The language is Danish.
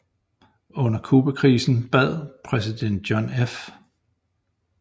Under Cubakrisen bad præsident John F